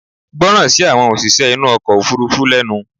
gbọ́ràn sí àwọn òṣìṣẹ́ inú ọkọ̀ òfurufú lẹnu!